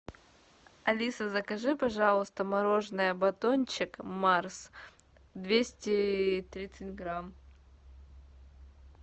алиса закажи пожалуйста мороженое батончик марс двести тридцать грамм